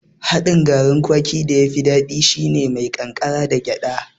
Haɗin garin kwaki da yafi daɗi shine mai ƙankara da gyaɗa